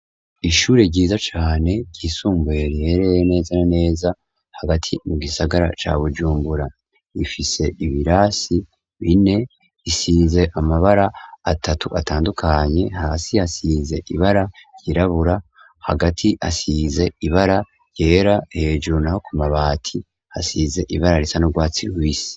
ishure ryiza cane ryisumbuye riherereye neza na neza hagati mu gisagara ca bujumbura rifise ibirasi bine isize amabara atatu atandukanye hasi hasize ibara ryirabura hagati hasize ibara ryera hejuru naho ku mabati hasize ibara risa n'u rwatsi rubisi